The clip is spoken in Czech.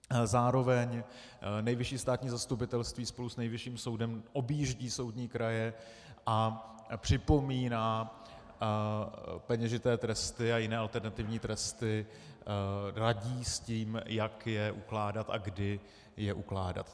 Zároveň Nejvyšší státní zastupitelství spolu s Nejvyšším soudem objíždí soudní kraje a připomíná peněžité tresty a jiné alternativní tresty, radí s tím, jak je ukládat a kdy je ukládat.